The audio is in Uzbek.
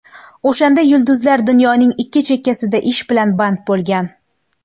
O‘shanda yulduzlar dunyoning ikki chekkasida ish bilan band bo‘lgan.